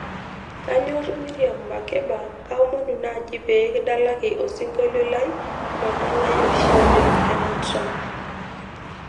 kanyorr miriam makeba kaomonu naaji pee kidalaki osingolio lai lodalae oshi oleng tena track